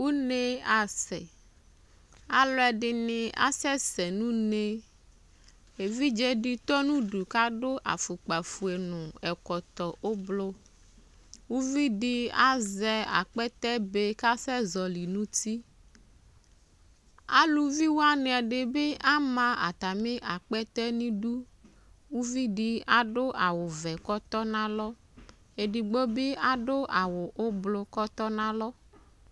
Une asɛ Alu ɛdini asɛsɛ nʋ uneƐvidze di tɔ nʋ udu kadʋ afukpa fue , nu ɛkɔtɔ ubluUvidi azɛ akpɛtɛ be kasɛzɔli nutiAluvi wani ɛdi bi ama atami akpɛtɛ niduUvidi aɖʋ awu vɛ kɔtɔnalɔ Edigbo bi adʋ awʋ ublu kɔtɔnalɔ